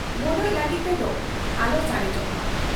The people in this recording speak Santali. ᱵᱚᱰᱚᱡ ᱞᱟᱹᱜᱤᱫ ᱛᱮᱫᱚ ᱟᱞᱚ ᱥᱟᱨᱮᱡᱚᱜ ᱢᱟ ᱾